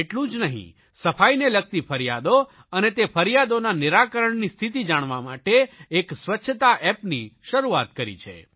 એટલું જ નહીં સફાઇને લગતી ફરિયાદો અને તે ફરિયાદોના નિરાકરણની સ્થિતિ જાણવા માટે એક સ્વચ્છતા એપની શરૂઆત કરી છે